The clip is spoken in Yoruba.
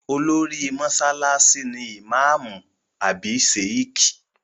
Olórí mọ́sálásí ni ìmáàmù àbí Sheikh